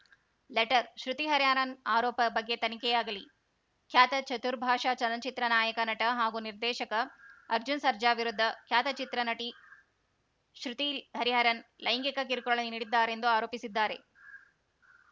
letter Shruti Hariharan ಆರೋಪದ ಬಗ್ಗೆ ತನಿಖೆಯಾಗಲಿ ಖ್ಯಾತ ಚತುರ್ಭಾಷ ಚಲನ ಚಿತ್ರ ನಾಯಕ ನಟ ಹಾಗೂ ನಿರ್ದೇಶಕ ಅರ್ಜುನ್‌ ಸರ್ಜಾ ವಿರುದ್ದ ಖ್ಯಾತ ಚಿತ್ರ ನಟಿ ಶ್ರುತಿ ಹರಿಹರನ್‌ ಲೈಂಗಿಕ ಕಿರುಕುಳ ನೀಡಿದ್ದಾರೆಂದು ಆರೋಪಿಸಿದ್ದಾರೆ